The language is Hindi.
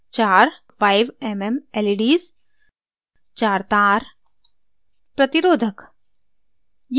चार 5mm leds